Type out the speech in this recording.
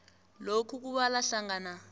lokhu kubala hlangana